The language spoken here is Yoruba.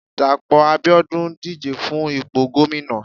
Dapo abiodun díje fún ìpo gomina